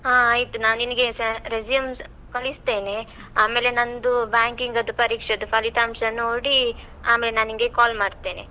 ಹಾ, ಆಯ್ತು, ನಾ ನಿನಗೆ ಸಾ resume ಕಳಿಸ್ತೇನೆ, ಆಮೇಲೆ ನಂದು, banking ಅದ್ದು ಪರೀಕ್ಷೆದ್ದು ಫಲಿತಾಂಶ ನೋಡಿ, ಆಮೇಲೆ ನಾ ನಿಂಗೆ call ಮಾಡ್ತೇನೆ.